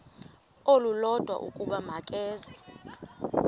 olulodwa ukuba makeze